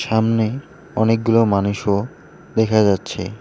সামনে অনেকগুলো মানুষও দেখা যাচ্ছে।